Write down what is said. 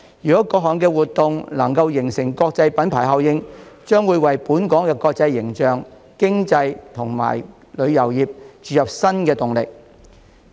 如果各項活動能夠形成國際品牌效應，將會為本港國際形象、經濟及旅遊業注入新動力。